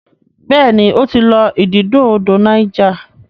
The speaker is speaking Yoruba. béèni o tí lọ ididò odò Niger.